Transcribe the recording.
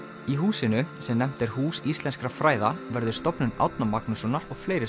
í húsinu sem nefnt er Hús íslenskra fræða verður Stofnun Árna Magnússonar og fleiri